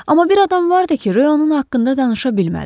Amma bir adam vardı ki, onun haqqında danışa bilmədi.